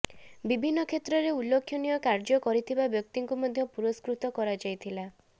ବିଭନ୍ନ କ୍ଷେତ୍ରରେ ଉଲ୍ଲେଖନୀୟ କାର୍ୟ୍ୟ କରିଥିବା ବ୍ୟକ୍ତିଙ୍କୁ ମଧ୍ୟ ପୁରସ୍କୃତ କରାଯାଇଥିଲା